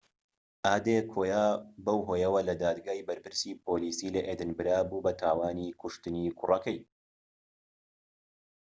ئادێکۆیا بەو هۆیەوە لە دادگای بەرپرسی پۆلیسیی لە ئێدینبرە بوو بە تاوانی کوشتنی کوڕەکەی